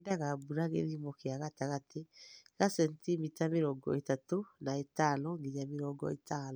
Yendaga mbura gĩthimo kĩa gatagatĩ ga centimita mĩrongo ĩtatu na ĩtano nginya mĩrongo ĩtano.